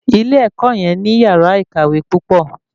Ilé ẹ̀kọ́ yẹn ní yàrá ìkàwé púpọ̀